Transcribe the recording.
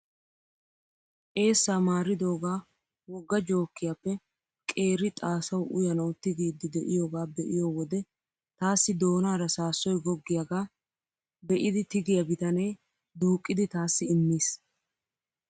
Eessaa maaridogaa wogga jookiyaappe qeeri xaasawu uyanawu tigiidi de'iyoogaa be'iyo wode taassi doonara saassoy goggiyaagaa be'idi tigiyaa bitanee duuqqidi taassi immiis.